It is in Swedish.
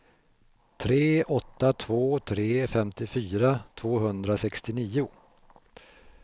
tre åtta två tre femtiofyra tvåhundrasextionio